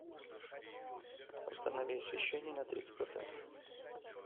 установи освещение на тридцать процентов